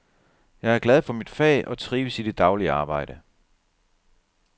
Jeg er glad for mit fag og trives i det daglige arbejde.